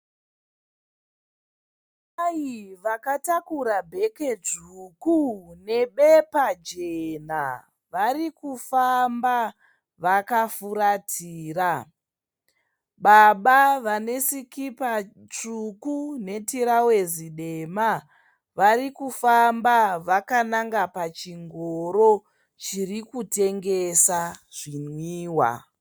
Amai vakatakura bheke dzvuku nebepa jena. Varikufamba vakafuratira. Baba vane sikipa tsvuku netirauzi dema varikufamba vakananga pachingoro chiri kutengesa zvinwiwa.